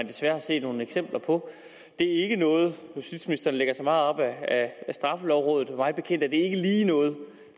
desværre er set nogle eksempler på justitsministeren lægger sig meget op ad straffelovrådet men mig bekendt er det ikke lige noget